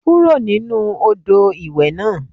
Kúrò nínú Odò ìwẹ̀ náà.